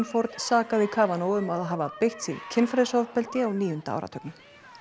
Ford sakaði um að hafa beitt sig kynferðisofbeldi á níunda áratugnum